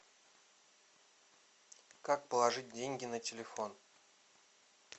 как положить деньги на телефон